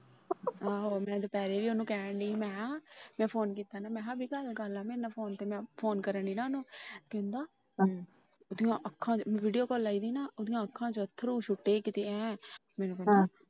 ਮੈ ਦੁਪਹਿਰੇ ਵੀ ਉਹਨੂੰ ਕਹਿਣ ਡਾਇ ਆ ਮੇ ਕਿਹਾ ਮੈ Phone ਕੀਤਾ ਮੈ ਕਿਹਾ ਗੱਲ ਕਰਲੇ ਮੇਰੇ ਨਾਲ Phone ਤੇ Phone ਕਰਨ ਡਾਇ ਨਾ ਓਹਨੂੰ। ਕਹਿੰਦਾ ਓਹਦੀਆ ਅੱਖਾਂ VideoCall ਲਾਇ ਸੀ ਨਾ ਓਹਦੀਆ ਅੱਖਾਂ ਚੋ ਅਥਰੂ ਸੁੱਟੇ ਕੀਤੇ ਐ